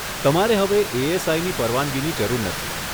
તમારે હવે એએસઆઈની પરવાનગીની જરૂર નથી.